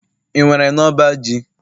ị nwere n'ọba ji?